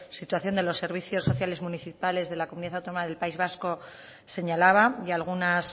situación de los servicios sociales municipales de la comunidad autónoma del país vasco señalaba y algunas